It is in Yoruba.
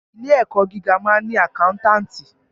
Ilé ẹ̀kọ́ gíga máa ń ni àkántàntì.